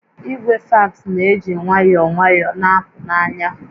Igwe fax na-eji nwayọọ nwayọọ na-apụ n'anya